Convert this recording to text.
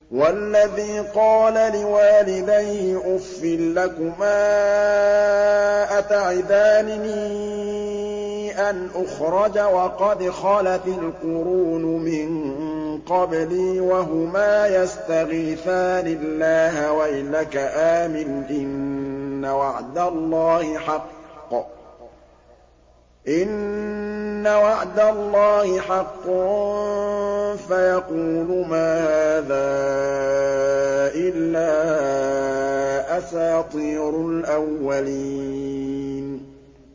وَالَّذِي قَالَ لِوَالِدَيْهِ أُفٍّ لَّكُمَا أَتَعِدَانِنِي أَنْ أُخْرَجَ وَقَدْ خَلَتِ الْقُرُونُ مِن قَبْلِي وَهُمَا يَسْتَغِيثَانِ اللَّهَ وَيْلَكَ آمِنْ إِنَّ وَعْدَ اللَّهِ حَقٌّ فَيَقُولُ مَا هَٰذَا إِلَّا أَسَاطِيرُ الْأَوَّلِينَ